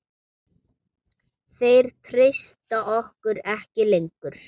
Þeir treysta okkur ekki lengur.